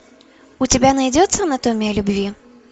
у тебя найдется анатомия любви